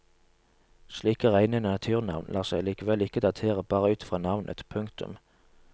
Slike reine naturnavn lar seg likevel ikke datere bare ut i fra navnet. punktum